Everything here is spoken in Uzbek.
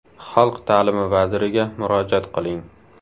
Xalq ta’limi vaziriga murojaat qiling.